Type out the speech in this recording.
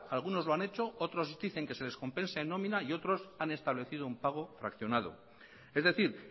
algunos lo han hechos otros dicen que se descompensen en nómina y otros han establecido un pago fraccionado es decir